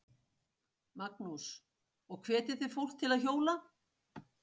Magnús: Og hvetjið þið fólk til að hjóla?